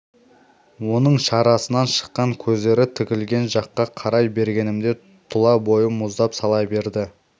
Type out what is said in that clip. оның шарасынан шыққан көздері тігілген жаққа қарай бергенімде тұла бойым мұздап сала берді